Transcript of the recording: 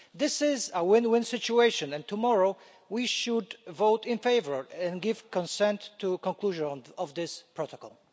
This is a win win situation and tomorrow we should vote in favour and give consent to the conclusion of this protocol.